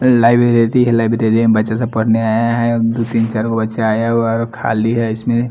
लाइब्रेरेरी हैं लाइब्रेरेरी बच्चे सब पढ़ने आए हैं दो तीन चारगो बच्चे आए हैं और खाली हैं इसमें--